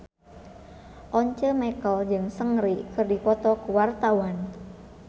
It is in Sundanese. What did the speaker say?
Once Mekel jeung Seungri keur dipoto ku wartawan